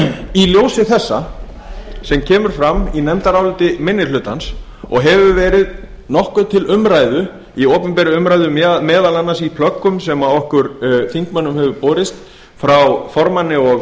í ljósi þessa sem kemur fram í nefndaráliti minni hlutans og hefur verið nokkuð til umræðu í opinberri umræðu meðal annars í plöggum sem okkur þingmönnum hefur borist frá formanni og